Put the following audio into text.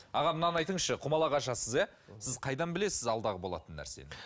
аға мынаны айтыңызшы құмалақ ашасыз иә сіз қайдан білесіз алдағы болатын нәрсені